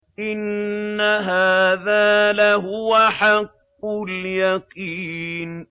إِنَّ هَٰذَا لَهُوَ حَقُّ الْيَقِينِ